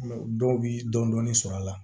Dɔw bi dɔɔnin dɔɔnin sɔrɔ a la